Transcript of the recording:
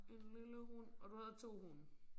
En lille hund og du havde 2 hunde